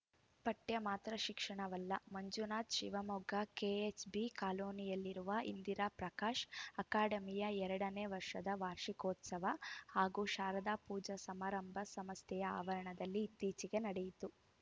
ಪಠ್ಯ ಮಾತ್ರ ಶಿಕ್ಷಣವಲ್ಲ ಮಂಜುನಾಥ್‌ ಶಿವಮೊಗ್ಗ ಕೆಎಚ್‌ಬಿ ಕಾಲೋನಿಯಲ್ಲಿರುವ ಇಂದಿರಾ ಪ್ರಕಾಶ್‌ ಅಕಾಡೆಮಿಯ ಎರಡನೇ ವರ್ಷದ ವಾರ್ಷಿಕೋತ್ಸವ ಹಾಗೂ ಶಾರದಾ ಪೂಜಾ ಸಮಾರಂಭ ಸಂಸ್ಥೆಯ ಆವರಣದಲ್ಲಿ ಇತ್ತೀಚೆಗೆ ನಡೆಯಿತು